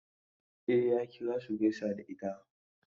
E, ya kira su gaisa da ita.